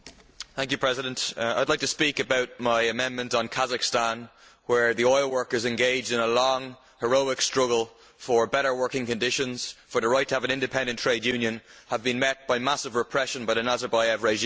Mr President, I would like to speak about my amendment on Kazakhstan, where the oil workers engaged in a long, heroic struggle for better working conditions and for the right to have an independent trade union, have been met by massive repression by the Nazarbayev regime.